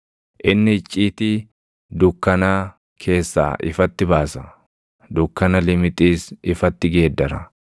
Inni icciitii dukkanaa keessaa ifatti baasa; dukkana limixiis ifatti geeddara.